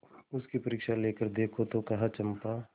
उसकी परीक्षा लेकर देखो तो कहो चंपा